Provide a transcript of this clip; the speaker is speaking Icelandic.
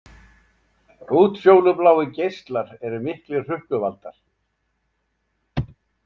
Útfjólubláir geislar eru miklir hrukkuvaldar.